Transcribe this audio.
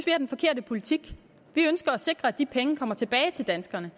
er den forkerte politik vi ønsker at sikre at de penge kommer tilbage til danskerne